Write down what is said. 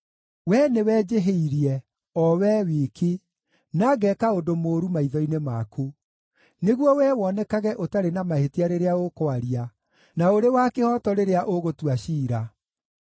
Wee nĩwe njĩhĩirie, o Wee wiki, na ngeeka ũndũ mũũru maitho-inĩ maku, nĩguo Wee wonekage ũtarĩ na mahĩtia rĩrĩa ũkwaria, na ũrĩ wa kĩhooto rĩrĩa ũgũtua ciira.